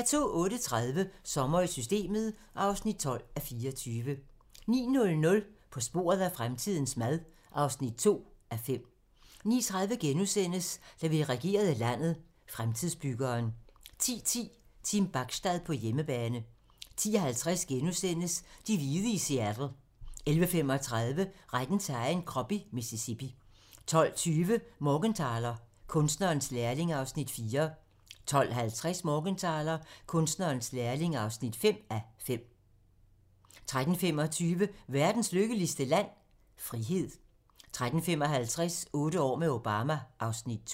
08:30: Sommer i Systemet (12:24) 09:00: På sporet af fremtidens mad (2:5) 09:30: Da vi regerede landet – Fremtidsbyggeren * 10:10: Team Bachstad på hjemmebane 10:50: De hvide i Seattle * 11:35: Retten til egen krop i Mississippi 12:20: Morgenthaler: Kunstnerens lærling (4:5) 12:50: Morgenthaler: Kunstnerens lærling (5:5) 13:25: Verdens lykkeligste land? – Frihed 13:55: Otte år med Obama (Afs. 2)